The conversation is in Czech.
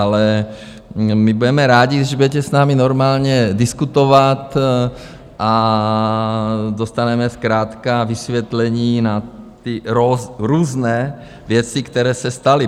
Ale my budeme rádi, když budete s námi normálně diskutovat a dostaneme zkrátka vysvětlení na ty různé věci, které se staly.